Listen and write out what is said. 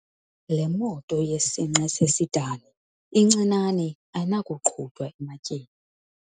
Le moto yesinqe sesidani incinane ayinakuqhutywa ematyeni.